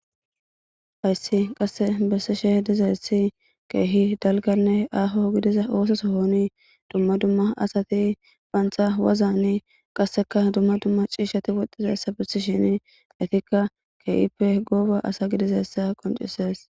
hayssi qasse besse shehe dizaessi keehi dalganne aaho gidiza oososo hooni dumma dumma asati baantha wazani qasseka dumma dumma ciishati woxxizaessa bissi shini etikka keehippe gooba asa gidizessa qoncises